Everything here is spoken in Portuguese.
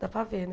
Dá para ver, né?